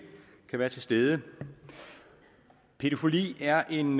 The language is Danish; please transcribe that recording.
kan være til stede pædofili er en